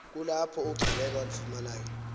kulapho ugcaleka walifumanayo